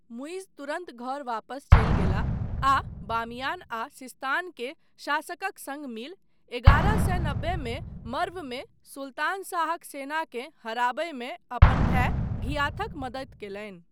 मुइज्ज तुरन्त घर वापस चलि गेलाह आ बामियान आ सिस्तान के शासकक सङ्ग मिल एगारह सए नब्बेमे मर्वमे सुल्तान शाहक सेनाँके हराबयमे अपन भाय घियाथक मदति कयलनि।